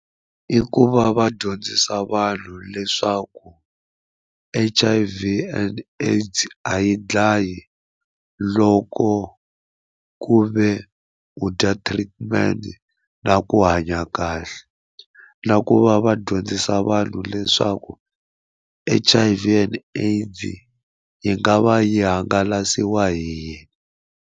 I ku va va dyondzisa vanhu leswaku H_I_V and AIDS a yi dlayi loko ku ve u dya treatment na ku hanya kahle na ku va va dyondzisa vanhu leswaku H_I_V and AIDS yi nga va yi hangalasiwa hi yini.